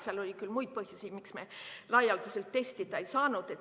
Seal oli küll muidki põhjusi, miks me laialdaselt testida ei saanud.